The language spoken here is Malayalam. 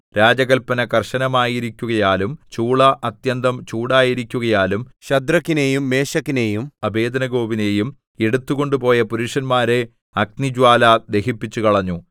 രാജകല്പന കർശനമായിരിക്കുകയാലും ചൂള അത്യന്തം ചൂടായിരിക്കുകയാലും ശദ്രക്കിനെയും മേശക്കിനെയും അബേദ്നെഗോവിനെയും എടുത്തു കൊണ്ടുപോയ പുരുഷന്മാരെ അഗ്നിജ്വാല ദഹിപ്പിച്ചുകളഞ്ഞു